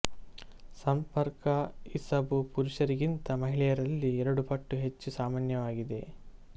ಸಂಪರ್ಕ ಇಸಬು ಪುರುಷರಿಗಿಂತ ಮಹಿಳೆಯರಲ್ಲಿ ಎರಡು ಪಟ್ಟು ಹೆಚ್ಚು ಸಾಮಾನ್ಯವಾಗಿದೆ